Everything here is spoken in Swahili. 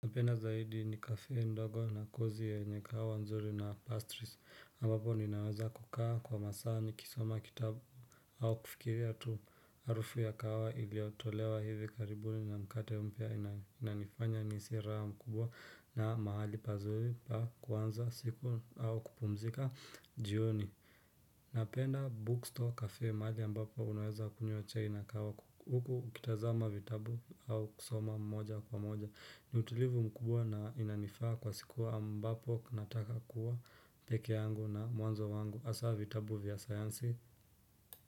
Napenda zaidi ni café ndogo na kozi yenye kahawa nzuri na pastries ambapo ninaweza kukaa kwa masaa ni kisoma kitabu au kufikiria tu harufu ya kahawa iliyotolewa hivi karibuni na mkate mpya inanifanya nihisi raha mkubwa na mahali pazuri pa kuanza siku au kupumzika jioni. Napenda bookstore kafe mahali ambapo unaweza kunywa chai na kahawa huku ukitazama vitabu au kusoma mmoja kwa mmoja ni utulivu mkubwa na inanifaa kwa siku ambapo nataka kuwa pekee yangu na mwanzo wangu hasa vitabu vya sayansi.